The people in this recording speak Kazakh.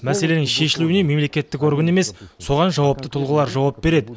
мәселенің шешілуіне мемлекеттік орган емес соған жауапты тұлғалар жауап береді